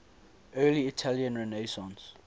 early italian renaissance